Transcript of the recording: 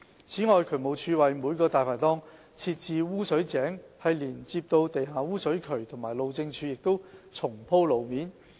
此外，渠務署為每個"大牌檔"設置污水井連接到地下污水渠及路政署亦重鋪路面。